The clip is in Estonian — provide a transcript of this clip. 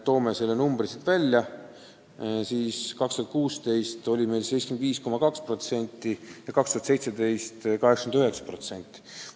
Toome selle numbri siin välja: 2016. aastal oli see meil 75,2% ja 2017. aastal 89%.